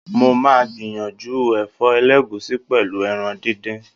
Mo máa gbìyànjú ẹ̀fọ́ ẹlẹ́gùsí, pẹ̀lú ẹran díndín.